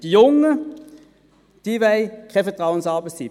Die Jungen wollen keine Vertrauensarbeitszeit.